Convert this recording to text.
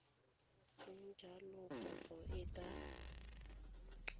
seng jalo kopo e ka